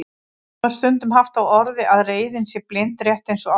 Þá er stundum haft á orði að reiðin sé blind, rétt eins og ástin.